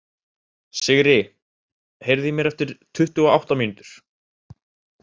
Sigri, heyrðu í mér eftir tuttugu og átta mínútur.